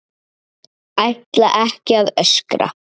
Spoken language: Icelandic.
Ætla ekki að öskra.